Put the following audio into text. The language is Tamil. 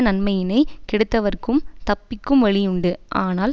நன்மையினைக் கெடுத்தவர்க்கும் தப்பிக்கும் வழியுண்டு ஆனால்